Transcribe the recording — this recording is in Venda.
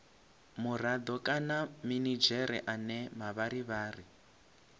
murado kana minidzhere ane mavharivhari